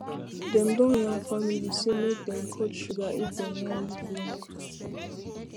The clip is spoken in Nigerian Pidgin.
dem don yarn families say make dem cut sugar if dem wan live long